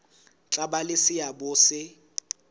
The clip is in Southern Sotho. tla ba le seabo se